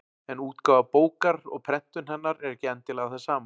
En útgáfa bókar og prentun hennar er ekki endilega það sama.